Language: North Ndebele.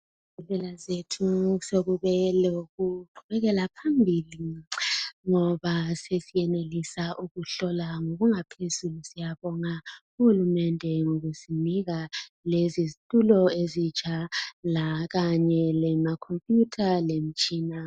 zethu sekube lokuqhubekela phambili ngoba sesiyenelisa ukuhlola ngokungaphezulu siyabonga uhulumende ngokusinika lezi zitulo ezitsha kanye lama computer lemitshina